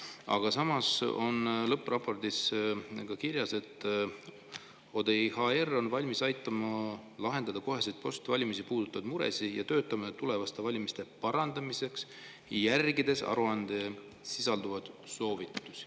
Aga samas on lõppraportis ka kirjas, et ODIHR on valmis kohe aitama lahendada muresid ja töötama tulevaste valimiste parandamise nimel, järgides aruandes sisalduvaid soovitusi.